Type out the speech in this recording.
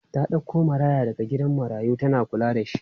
Ta ɗauko maraya daga gidan marayu tana kulla da shi.